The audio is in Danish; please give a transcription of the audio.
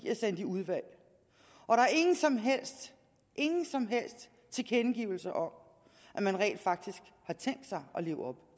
er sendt i udvalg og der er ingen som helst ingen som helst tilkendegivelser om at man rent faktisk har tænkt sig at leve op